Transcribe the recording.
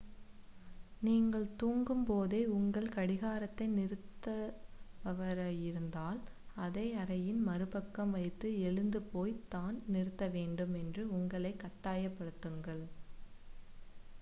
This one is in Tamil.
நீங்கள் தூங்கும் போதே உங்கள் கடிகாரத்தை நிறுத்துபவராயிருந்தால் அதை அறையின் மறுபக்கம் வைத்து எழுந்து போய்த் தான் நிறுத்த வேண்டும் என்று உங்களைக் கட்டாயப் படுத்துங்கள்